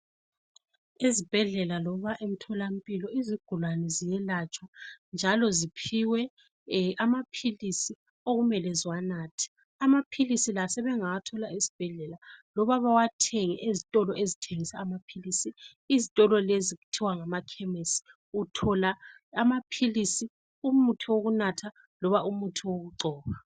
Esibhedlela loba emtholampilo izigulane ziyelatshwa njalo ziphiwe amaphilisi okumele ziwanathe amaphilisi la sebengawathola esibhedlela loba bewathenge ezitolo ezithengisa amaphilisi izitolo lezi kuthiwa ngama khemisi uthola amaphilisi umuthi wokunatha loba umuthi wokugcoba.